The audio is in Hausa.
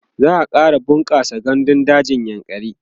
za'a ƙara bunƙasa gandun dajin yankari